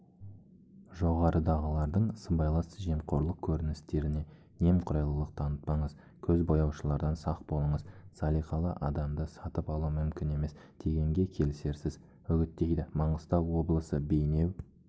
жоғарыдағылардың сыбайлас жемқорлық көріністеріне немқұрайлылық танытпаңыз көзбояушылардан сақ болыңыз салиқалы адамды сатып алу мүмкін емес дегенге келісерсіз үгіттейді маңғыстау облысы бейнеу